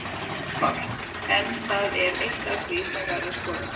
Heimir Már: En það er eitt af því sem verður skoðað?